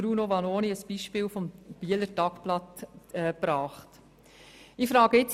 Bruno Vanoni hat vorhin das «Bieler Tagblatt» als Beispiel erwähnt.